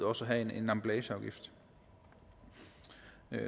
også at have en emballageafgift